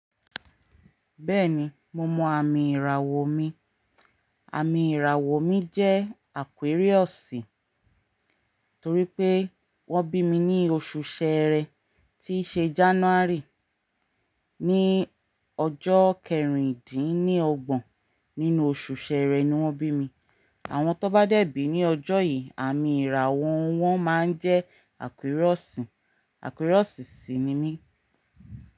Bẹ́ẹ̀ni mo mọ àmì ìràwọ̀ mi. Àmì ìràwọ̀ mi jẹ́ Aquarius, torí pé wọ́n bí mi ní oṣù Ṣẹẹrẹ tíí ṣe January. Ní ọjọ́ kẹrìndínlọ́gbọ̀n nínú oṣù Ṣẹẹrẹ ni wọ́n bí mi. Àwọn tó n bá dẹ̀bí ní ọjọ́ yìí, àmì ìrà wọ́n máa ń jẹ́ Aquarius. Aquarius sì ni mí.